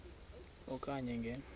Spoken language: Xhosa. e okanye nge